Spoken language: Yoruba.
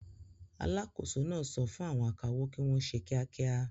Alákòóso náà sọ fún àwọn akawó kí wọ́n ṣe kíákíá.